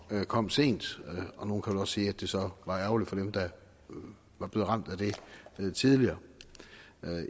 der kom sent og nogle kan vel også sige at det så var ærgerligt for dem der var blevet ramt af det tidligere